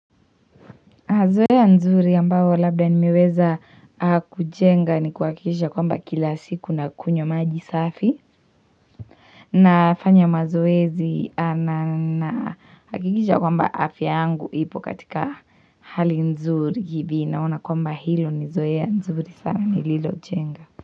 Zoea nzuri ambao labda nimeweza kujenga ni kuhakikisha kwamba kila siku nakunywa maji safi nafanya mazoezi nahakikisha ya kwamba afya yangu ipo katika hali nzuri hivi naona kwamba hilo ni zoea nzuri sana nililojenga.